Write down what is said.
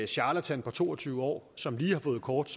charlatan på to og tyve år som lige har fået kort